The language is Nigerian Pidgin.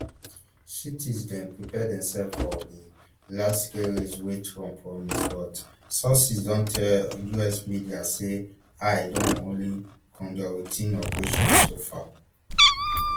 cities dem prepare themselves for di largescale raids wey trump promise but sources don tell us media say ice don only conductroutine operations so far